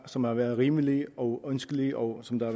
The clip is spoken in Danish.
som har været rimelige og ønskelige og som der